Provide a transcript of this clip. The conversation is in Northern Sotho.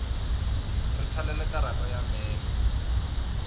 re thalele karata ya memo